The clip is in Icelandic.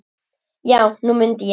Já, nú mundi ég það.